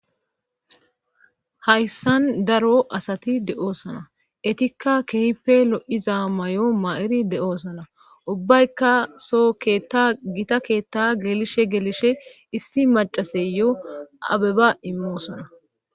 hayssan daro asati de7oosona etikka kehippe lo7iza may7o ma7iri de7oosona ubbaykka so keetta gita keetta gelishe geelishe issi macaseyoo abeba immo sona